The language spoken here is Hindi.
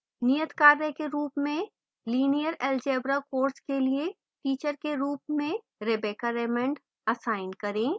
नियतकार्य के रूप में